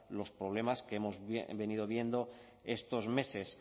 los problemas que hemos venido viendo estos meses